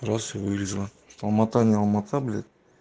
раз вылезла алма-ата не алма-ата блять